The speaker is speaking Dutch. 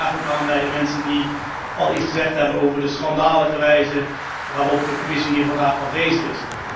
Ik sluit me graag ook aan bij de mensen die iets gezegd hebben over de schandalige wijze waarop de Commissie hier vandaag afwezig is.